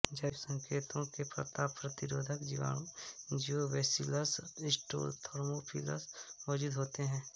जैविक संकेतकों में तापप्रतिरोधी जीवाणु जियोबैसीलस स्टीरोथर्मोफिलस मौजूद होते हैं